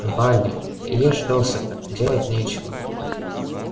вали ешь досыта делать нечего